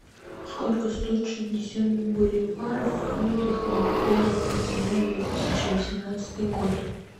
сколько стоит шестьдесят боливаров в фунтах на первое октября две тысячи восемнадцатый год